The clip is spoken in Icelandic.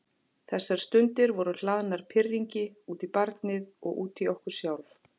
Þessar stundir voru hlaðnar pirringi, út í barnið og út í okkur sjálf.